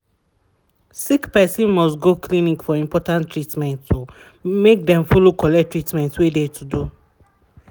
sickperson must go clinic for important treatment make dem follow collect treatment wey de to do.